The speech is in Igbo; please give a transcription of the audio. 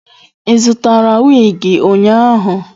Ị zụtara wig ụnyahụ?